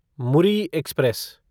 Muri express